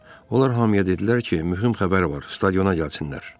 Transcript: Onlar hamıya dedilər ki, mühüm xəbər var, stadiona gəlsinlər.